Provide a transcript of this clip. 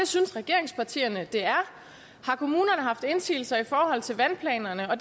synes regeringspartierne det er har kommunerne haft indsigelser i forhold til vandplanerne og